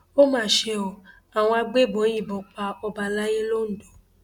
ó mà ṣe o àwọn agbébọn yìnbọn pa ọba àlàyé londo